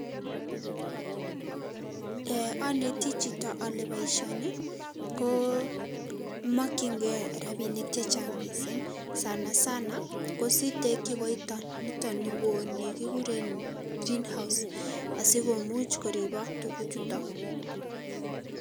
Eeh oneti chito ole boisioni komokyingei rabinik chechang' missing' sana sana kositekyi koiton niwon ni nikikuren green house asikomuch koribok tuguchuton.